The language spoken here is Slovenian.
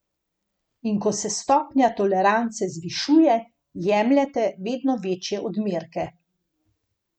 In ko se stopnja tolerance zvišuje, jemljete vedno večje odmerke.